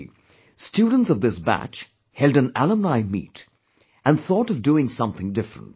Actually, students of this batch held an Alumni Meet and thought of doing something different